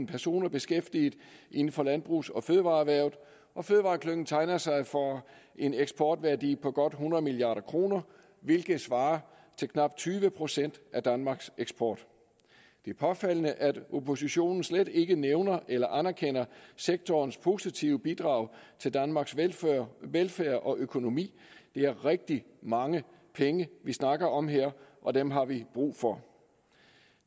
personer beskæftiget inden for landbrugs og fødevareerhvervet og fødevareklyngen tegner sig for en eksportværdi på godt hundrede milliard kr hvilket svarer til knap tyve procent af danmarks eksport det er påfaldende at oppositionen slet ikke nævner eller anerkender sektorens positive bidrag til danmarks velfærd velfærd og økonomi det er rigtig mange penge vi snakker om her og dem har vi brug for